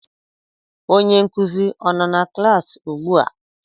Onye nkuzi a nọ na klaasị ugbua?